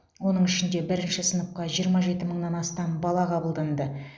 оның ішінде бірінші сыныпқа жиырма жеті мыңнан астам бала қабылданды